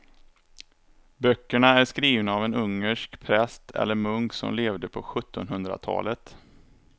Böckerna är skrivna av en ungersk präst eller munk som levde på sjuttonhundratalet.